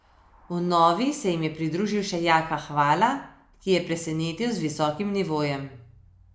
V novi se jim je pridružil še Jaka Hvala, ki je presenetil z visokim nivojem.